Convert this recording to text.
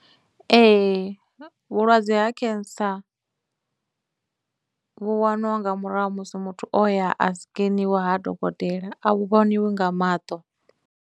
Ee, vhulwadze ha cancer vhu wanwa nga murahu ha musi muthu o ya a sikeniwa ha dokotela, a vhu vhoniwi nga maṱo.